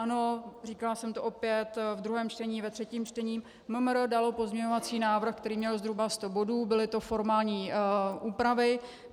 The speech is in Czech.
Ano, říkala jsem to opět ve druhém čtení, ve třetím čtení, MMR dalo pozměňovací návrh, který měl zhruba sto bodů, byly to formální úpravy.